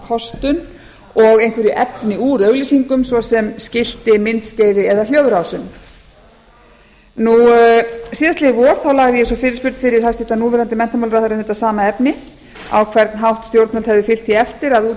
kostun og einhverju efni úr auglýsingum svo sem skilti myndskeiði eða hljóðrásum síðastliðið vor lagði ég svo fyrirspurn fyrir núv menntamálaráðherra um þetta sama efni á hvern hátt stjórnvöld hefðu fylgt því eftir að